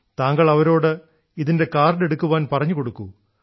താങ്കൾ അവരോട് ഇതിന്റെ കാർഡ് എടുക്കുവാൻ പറഞ്ഞുകൊടുക്കൂ